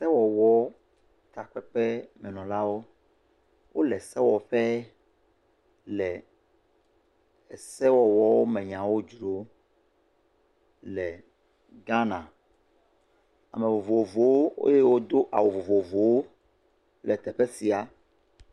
Sewɔwɔ takpeƒemenɔlawo, wole sewɔƒe le sewɔwɔ nyawo me dzrom le Ghana. Ame vovovowo eye wodo awu vovovowo le teƒe sia.